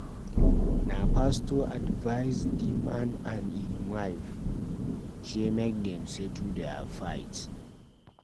Na pastor advise di man and im wife sey make dem settle their fight.